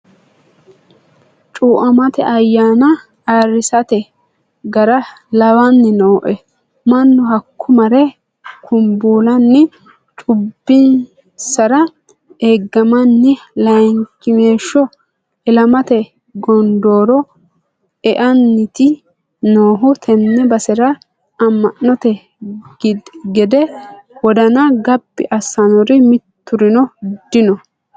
Cuamate ayyanna ayirrisate gara lawani nooe mannu hakko mare kumbullanni cubbinsara eeggamanni layinkimeeshsho ilamate gondoro eanniti noohu tene basera ama'note gede wodana gabbi assanori miturino dino.